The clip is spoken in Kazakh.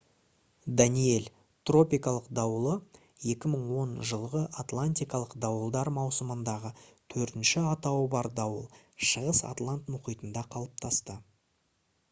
«даниэль» тропикалық дауылы 2010 жылғы атлантикалық дауылдар маусымындағы төртінші атауы бар дауыл шығыс атлант мұхитында қалыптасты